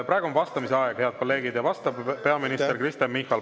Praegu on vastamise aeg, head kolleegid, ja vastab peaminister Kristen Michal.